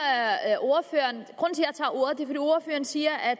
at ordføreren nu siger at